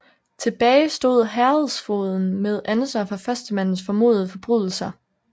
Tilbage stod herredsfogeden med ansvar for førstemandens formodede forbrydelser